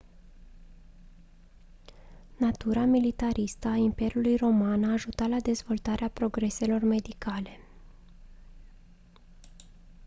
natura militaristă a imperiului roman a ajutat la dezvoltarea progreselor medicale